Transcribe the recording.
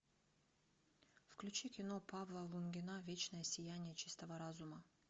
включи кино павла лунгина вечное сияние чистого разума